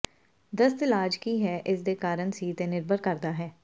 ਦਸਤ ਇਲਾਜ ਕੀ ਹੈ ਇਸ ਦੇ ਕਾਰਨ ਸੀ ਤੇ ਨਿਰਭਰ ਕਰਦਾ ਹੈ